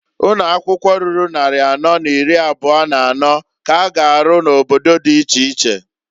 Ụnọakwụkwọ ruru nnarị anọ n'iri abụa n'anọọ k'a ga arụ n'obodo di iche iche.